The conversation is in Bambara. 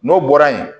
N'o bɔra yen